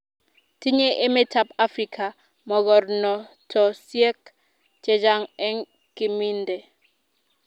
tinyei emetab Afrika mogornotosiek chechang eng kiminde